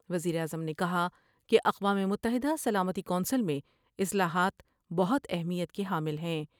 وزیر اعظم نے کہا کہ اقوام متحدہ سلامتی کونسل میں اصلاحات بہت اہمیت کے حامل ہیں ۔